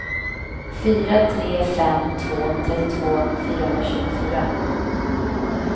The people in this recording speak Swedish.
fyra tre fem två trettiotvå fyrahundratjugofyra